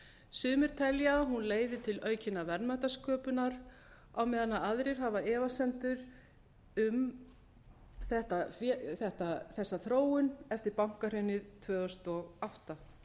sumir telja að hún leiði til aukinnar verðmætasköpunar á meðan aðrir hafa efasemdir um þessa þróun eftir bankahrunið tvö þúsund og átta